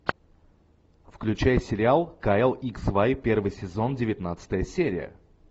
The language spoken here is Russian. включай сериал кайл икс вай первый сезон девятнадцатая серия